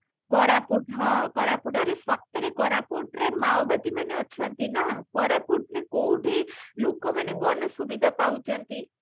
କୋରାପୁଟ ହଁ କୋରାପୁଟ ସତରେ କୋରାପୁଟରେ ମାଓବାଦୀ ମାନେ ଅଛନ୍ତି ନା କୋରାପୁଟ ର କୋଉଠି ଲୋକମାନେ କନ ସୁବିଧା ପାଉଛନ୍ତି